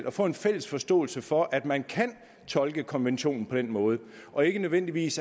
at få en fælles forståelse for at man kan tolke konventionen på den måde og ikke nødvendigvis